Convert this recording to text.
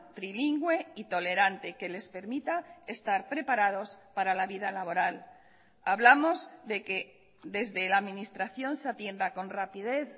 trilingüe y tolerante que les permita estar preparados para la vida laboral hablamos de que desde la administración se atienda con rapidez